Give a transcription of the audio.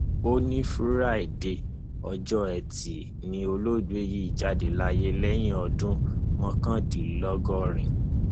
òní fraide ọjọ etí ni olóògbé yìí jáde láyé lẹni ọdún mọkàndínlọgọrin